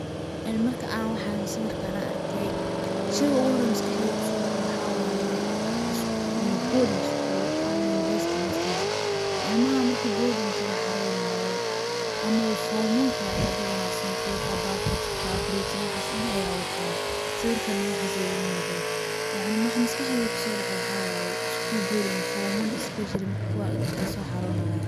Ee marka aan waxaan sawirkaan aan arkay, sheyga ugu hore oo maskaxdeyda kusoo dhace waxa waye boarding school ama university hostels . Ilmaha marki boarding ka la xareynayo ama uu form one ka yahay ayaa badanaa sanduuq, bucket ka ,five litre waxaas dhan ayagaa watanaa ,sawirkan na waxaas ayaa iiga muuqdaa. Yacni waxa maskaxdeyda kusoo dhaco waxa waye iskuul boarding ah oo form one especially marka ay kuwaa soo xaronayaan.